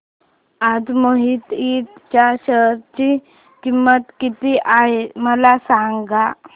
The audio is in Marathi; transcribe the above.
आज मोहिते इंड च्या शेअर ची किंमत किती आहे मला सांगा